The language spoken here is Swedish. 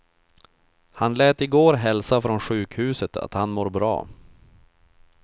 Han lät i går hälsa från sjukhuset att han mår bra.